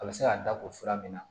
A bɛ se k'a da tugu sira min na